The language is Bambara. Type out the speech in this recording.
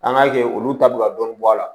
An k'a kɛ olu ta bɛ ka dɔɔnin bɔ a la